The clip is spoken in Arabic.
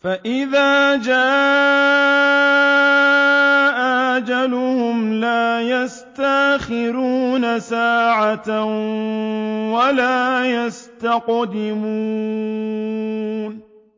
فَإِذَا جَاءَ أَجَلُهُمْ لَا يَسْتَأْخِرُونَ سَاعَةً ۖ وَلَا يَسْتَقْدِمُونَ